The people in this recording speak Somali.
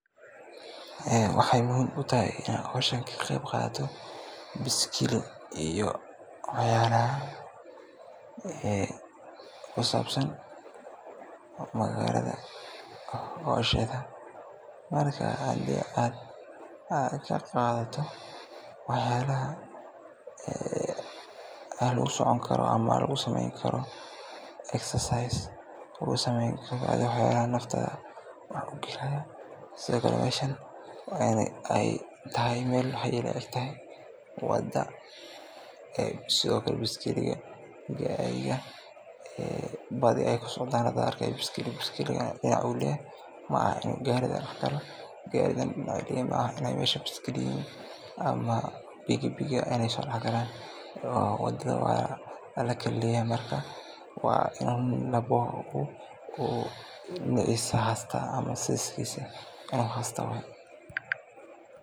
Waxeey muhiim utahay inaan howshani ka qeyb qaato biskili iyo cayaraha kusabsan magaalada howsheeda, marka hadii aad ka qaadato wax yaabaha aan lagu socon karo ama lagu sameen karo jimicsi, wax yaabaha nafta wax ukeenayo, sido kale meeshan waa in aay meel wada sido kale biskiliga gaariga badi aay ku socdaan, biskiliga dinac ayuu leyahay garigana dinac, wada waa lakala leeyahay waa in qof walbo dinaciisa uu haysto.